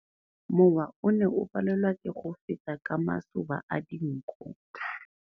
Mowa o ne o palelwa ke go feta ka masoba a dinko.